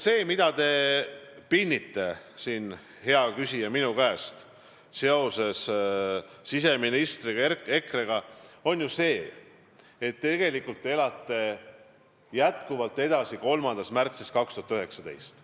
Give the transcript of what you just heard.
See, et te pinnite siin, hea küsija, minu käest vastuseid seoses siseministri ja EKRE-ga, näitab, et tegelikult te elate jätkuvalt edasi 3. märtsis 2019.